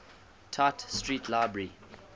tite street library